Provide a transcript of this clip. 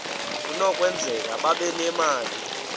kunokwenzeka babe nemali